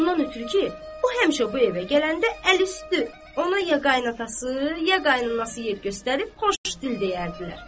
Ondan ötrü ki, o həmişə bu evə gələndə əlüstü ona ya qayınatası, ya qayınanası yer göstərib xoş dil deyərdilər.